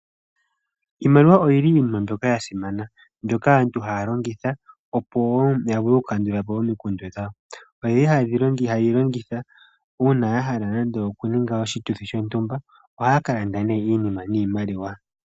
Iimaliwa oyili iinima mbyoka ya simana mbyoka aantu haya longitha opo woo ya vule oku kandula po omikundu dhawo. Oyeli hayeyi longitha uuna ya hala nando oku ninga oshituthi shontumba ohaya ka landa nee iinima niimaliwa.